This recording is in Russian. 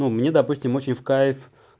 мне допустим очень в кайф